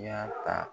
I y'a ta